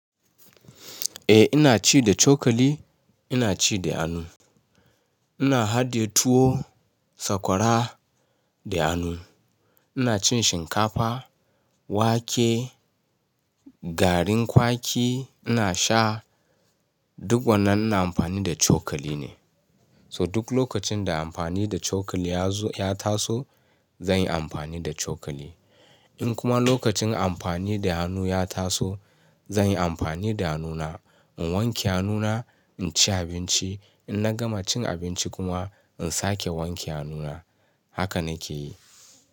Eh ina ci da cokali, ina ci da hannu. Ina hadiye tuwo, sakwara da hannu. Ina cin shinkafa, wake, garin kwaki ina sha, duk wannan ina amfani da cokali ne. So duk lokacin da amfani da cokali ya taso zan yi amfani da cokali. In kuma lokacin amfani da hannu ya taso zan yi amfani da hannuna. In wanke hannuna, in ci abinci. In na gama cin abinci kuma in sake wanke hannuna. Haka na ke yi.